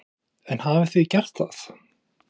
Karen: En hafið þið gert það?